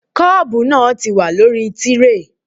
Kọ́ọ̀bu náà ti wà lórí tíréè